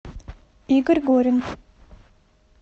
игорь горин